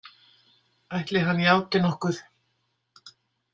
Ætli hann játi nokkuð?